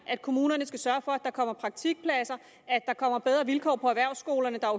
at kommunerne skal sørge for at der kommer praktikpladser at der kommer bedre vilkår på erhvervsskolerne der